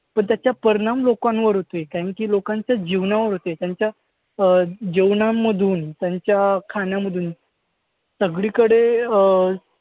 तर त्याचा परिणाम लोकांवर होतोय. लोकांच्या जीवनावर होतोय. त्यांच्या अं जेवणामधून, त्यांच्या खाण्यामधून सगळीकडे अं